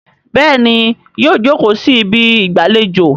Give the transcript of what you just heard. béèni yíò joko sí Ibi ìgbàlejò.